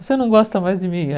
Você não gosta mais de mim?